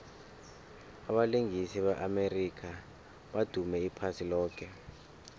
abalingisi be amerika badume iphasi loke